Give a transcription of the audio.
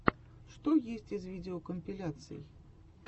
что есть из видеокомпиляций